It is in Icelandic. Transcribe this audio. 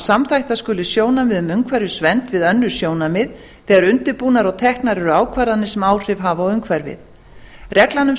samþætta skuli sjónarmið um umhverfisvernd við önnur sjónarmið þegar undirbúnar og teknar eru ákvarðanir sem áhrif hafa á umhverfið reglan um